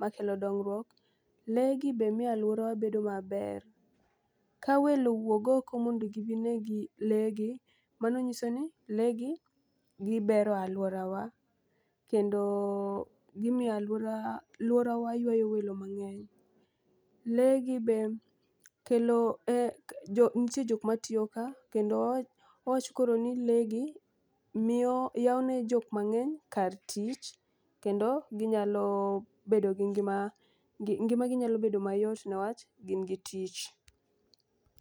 makelo dongrok. Lee gi be miyo aluorawa bedo maber ka welo wuog oko modo gibi gine lee gi mano nyiso ni lee gi gibero aluorawa kendo gimiyo aluora aluorawa ywayo welo mang'eny. Lee gi be kelo jo ntie jok matiyo ka kendo wawach wach koro ni lee gi miyo yawo ne jok mang'eny kar tich kendo ginyalo bedo gi ngima ngi ngimagi nyalo bedo mayot newach gin gi tich.